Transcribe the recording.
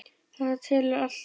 Þetta telur allt.